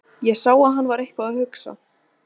Ég sá að hann var eitthvað að hugsa.